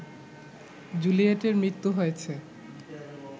জুলিয়েটের মৃত্যু হয়েছে